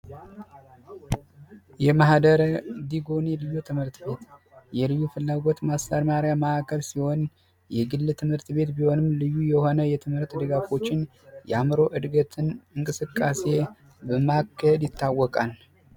የማህደረ ዲጎንዩ ልዩ ትምህርት ቤት የልዩ ፍላጎት ማስተማሪያ ማዕከል ሲሆን የግል ትምህርት ቤት ቢሆንም ልዩ የሆነ የትምህርት ድጋፎችን የአእምሮ እድገትን እንቅስቃሴ በማገድ ይታወቃል።